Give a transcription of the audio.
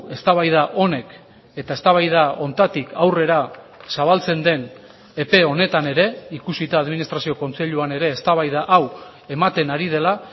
eztabaida honek eta eztabaida honetatik aurrera zabaltzen den epe honetan ere ikusita administrazio kontseiluan ere eztabaida hau ematen ari dela